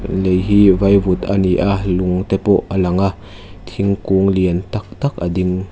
lei hi vaivut a ni a lung te pawh a lang a thingkung lian tak tak a ding.